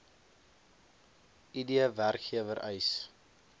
id werkgewer eis